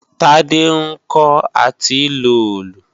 Tádé ń kọ́ à ti lo òòlù